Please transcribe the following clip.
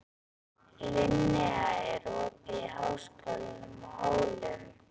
Linnea, er opið í Háskólanum á Hólum?